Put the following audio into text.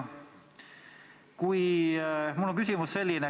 Mul on selline küsimus.